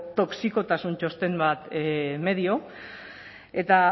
toxikotasun txosten bat medio eta